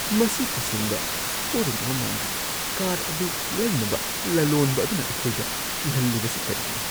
ꯃꯁꯤ ꯇꯁꯦꯡꯕ ꯁꯣꯔꯨꯝ ꯑꯃ ꯃꯥꯟꯗꯦ꯫ ꯀꯥꯔ ꯑꯗꯨ ꯂꯩꯅꯕ ꯂꯂꯣꯟꯕ ꯑꯗꯨꯅ ꯑꯩꯈꯣꯏꯗ ꯀꯤꯍꯜꯂꯤꯕꯁꯤ ꯀꯔꯤꯒꯤꯅꯣ?